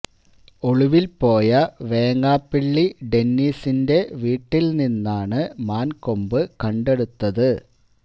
ഒളിവിൽ പോയ വേങ്ങാപ്പിള്ളി ഡെന്നീസിന്റെ വീട്ടിൽ നിന്നാണ് മാൻ കൊമ്പ് കണ്ടടുത്തത്